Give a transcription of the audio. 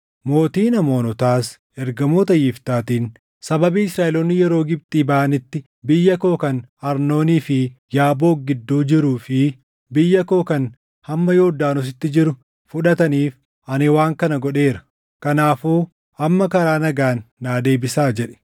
Mootiin Amoonotaas ergamoota Yiftaatiin, “Sababii Israaʼeloonni yeroo Gibxii baʼanitti biyya koo kan Arnoonii fi Yaaboq gidduu jiruu fi biyya koo kan hamma Yordaanositti jiru fudhataniif ani waan kana godheera; kanaafuu amma karaa nagaan naa deebisaa” jedhe.